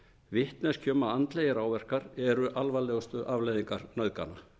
vitneskju um að andlegir áverkar eru alvarlegustu afleiðingar nauðgana